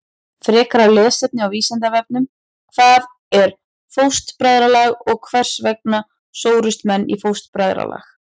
Frekara lesefni á Vísindavefnum: Hvað er fóstbræðralag og hvers vegna sórust menn í fóstbræðralag?